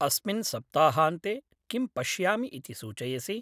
अस्मिन् सप्ताहान्ते किं पश्यामि इति सूचयसि?